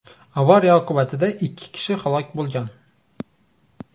Avariya oqibatida ikki kishi halok bo‘lgan.